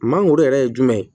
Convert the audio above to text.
Mangoro yɛrɛ ye jumɛn ye